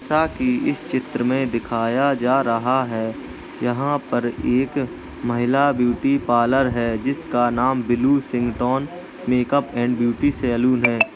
जैसा कि इस चित्र में दिखाया जा रहा है यहाँं पर एक महिला ब्यूटी पार्लर है जिस का नाम ब्लूसिंगटोन मेक-अप एंड सैलून है।